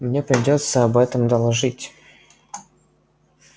мне придётся об этом доложить